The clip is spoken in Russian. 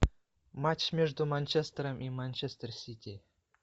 матч между манчестером и манчестер сити